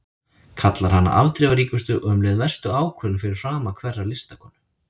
Kallar hana afdrifaríkustu og um leið verstu ákvörðun fyrir frama hverrar listakonu.